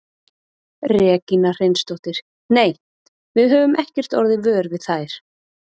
Regína Hreinsdóttir: Nei, við höfum ekkert orðið vör við þær?